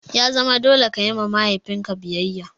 Ya zama dole ka yi wa mahaifin ka biyayya!